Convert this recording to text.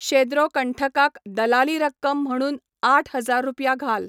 शेद्रो कंठकाक दलाली रक्कम म्हणून आठ हजार रुपया घाल